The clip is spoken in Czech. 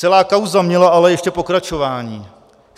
Celá kauza měla ale ještě pokračování.